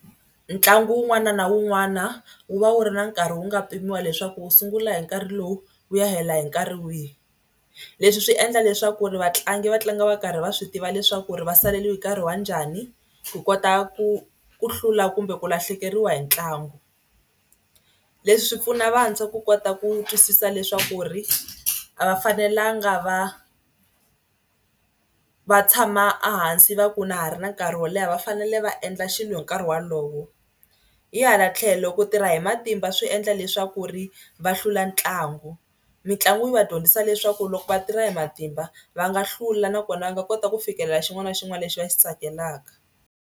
Ntlangu wun'wana na wun'wana wu va wu ri na nkarhi wu nga pimiwa leswaku wu sungula hi nkarhi lowu wu ya hela hi nkarhi wihi. Leswi swi endla leswaku ri vatlangi va tlanga va karhi va swi tiva leswaku ri va saleriwe hi nkarhi wa njhani ku kota ku ku hlula kumbe ku lahlekeriwa hi ntlangu. Leswi swi pfuna vantshwa ku kota ku twisisa leswaku ri a va fanelanga va va tshama a hansi va ku na ha ri na nkarhi wo leha va fanele va endla xilo hi nkarhi walowo. Hi hala tlhelo ku tirha hi matimba swi endla leswaku ri va hlula ntlangu. Mitlangu yi va dyondzisa leswaku loko va tirha hi matimba va nga hlula nakona va nga kota ku fikelela xin'wana na xin'wana lexi va xi tsakelaka.